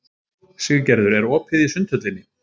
Siggerður, er opið í Sundhöllinni?